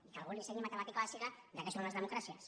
i que algú li ensenyi matemàtica bàsica de què són les democràcies